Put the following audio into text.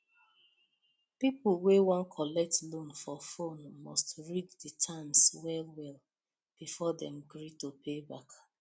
people wey wan collect loan for phone must read the terms well well before dem agree to pay back